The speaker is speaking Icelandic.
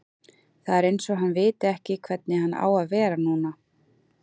Það er eins og hann viti ekki hvernig hann á að vera núna.